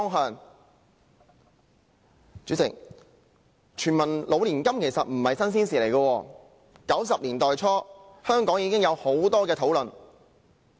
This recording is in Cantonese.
代理主席，全民老年金並非新鮮事物 ，1990 年代初期，香港已有很多討論。